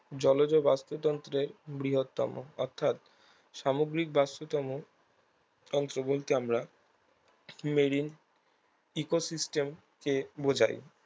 জলজ বাস্তুতন্ত্রের বৃহত্তম অর্থাৎ সামুদ্রিক বাস্তুতম তন্ত্র বলতে আমরা marine ecosystem কে বোঝাই